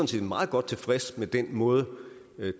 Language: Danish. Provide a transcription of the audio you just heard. set meget godt tilfredse med den måde